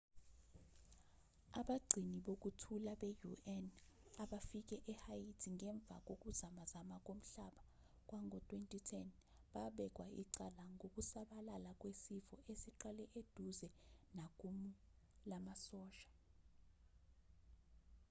abagcini bokuthula be-un abafike ehaiti ngemva kokuzamazama komhlaba kwango-2010 babekwa icala ngokusabalala kwesifo esiqale eduze nakumu lamasosha